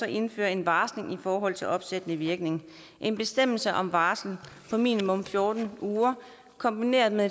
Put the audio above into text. indfører en varsling i forhold til opsættende virkning en bestemmelse om varsel på minimum fjorten uger kombineret med